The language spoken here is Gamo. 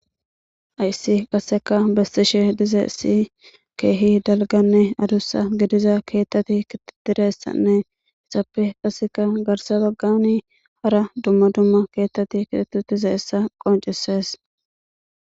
Hayssi qasseka beetishe dizayssi keehi dalgganne adussa gidiza keeththati keexetidayssanne qasseka garssa baggani hara dumma dumma keeththati keexeti dizayssa qonccisees.